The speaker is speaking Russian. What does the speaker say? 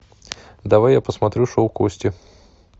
давай я посмотрю шоу кости